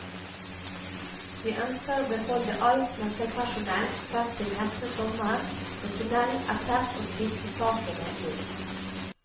Vi ønsker å beholde alt nøkkelpersonell frem til neste sommer når tunnelen er tett og tvistesakene løst.